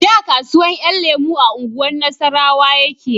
Da kasuwan 'yan lemo a unguwar nasarrawa yake